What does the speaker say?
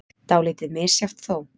Dálítið misjafnt þó.